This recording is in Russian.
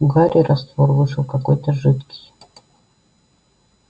у гарри раствор вышел какой-то жидкий